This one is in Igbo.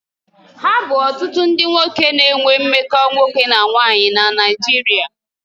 Ha bu otutu ndi nwoke na-enwe mmekọ nwoke na nwoke na Naijiria